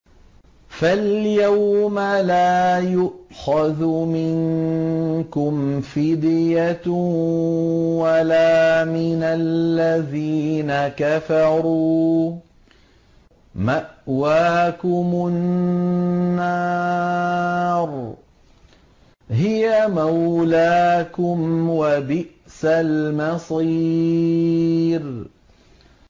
فَالْيَوْمَ لَا يُؤْخَذُ مِنكُمْ فِدْيَةٌ وَلَا مِنَ الَّذِينَ كَفَرُوا ۚ مَأْوَاكُمُ النَّارُ ۖ هِيَ مَوْلَاكُمْ ۖ وَبِئْسَ الْمَصِيرُ